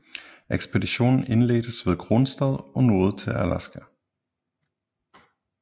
Ekspeditionen indledtes ved Kronstadt og nåede til Alaska